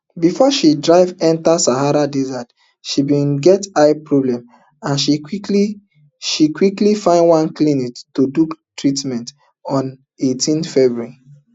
before she drive enta sahara desert she bin get eye problem and she quickly she quickly find one clinic to do treatment on eighteen february